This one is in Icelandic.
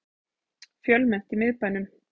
Fjölmennt í miðbænum